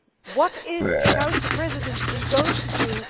What is the Council Presidency going to do?